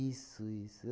isso.